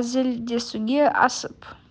әзілдесуге асып